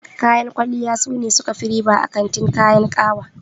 Kayan kwalliya sune suka fi riba a kantin kayan ƙawa.